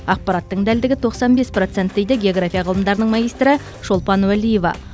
ақпараттың дәлдігі тоқсан бес процент дейді георграфия ғылымдарының магистрі шолпан уалиева